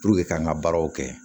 Puruke k'an ka baaraw kɛ